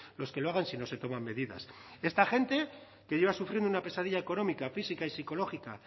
los que lo hagan si no se toman medidas esta gente que lleva sufriendo una pesadilla económica física y psicológica